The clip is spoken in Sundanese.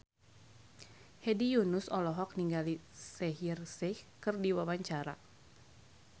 Hedi Yunus olohok ningali Shaheer Sheikh keur diwawancara